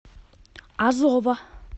азова